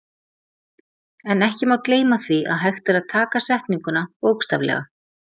En ekki má gleyma því að hægt er að taka setninguna bókstaflega.